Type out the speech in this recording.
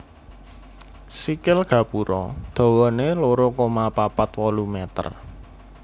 Sikil gapura dhawané loro koma papat wolu meter